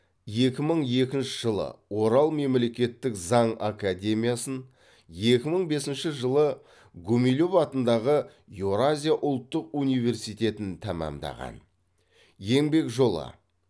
екі мың екінші жылы орал мемлекеттік заң академиясын екі мың бесінші жылы гумилев атындағы еуразия ұлттық университетін тәмамдаған еңбек жолы